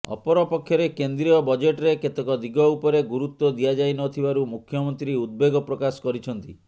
ଅପରପକ୍ଷରେ କେନ୍ଦ୍ରୀୟ ବଜେଟ୍ ରେ କେତେକ ଦିଗ ଉପରେ ଗୁରୁତ୍ୱ ଦିଆଯାଇନଥିବାରୁ ମୁଖ୍ୟମନ୍ତ୍ରୀ ଉଦବେଗ ପ୍ରକାଶ କରିଛନ୍ତି